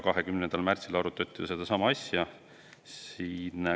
20. märtsil siis arutati sedasama asja.